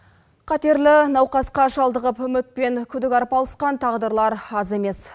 қатерлі науқасқа шалдығып үміт пен күдік арпалысқан тағдырлар аз емес